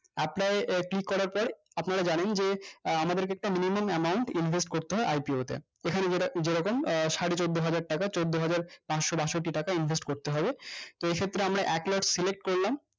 apply এ click করার পর আপনারা জানেন যে আহ আমাদেরকে একটা minimum amount invest করতে হয় IPO তে এখানে যে যেরকম আহ সাড়েচোদ্দহাজার টাকা চোদ্দহাজার পাঁচশো বাষট্টি টাকা invest করতে হবে তো এক্ষেত্রে আমরা একলাখ select করলাম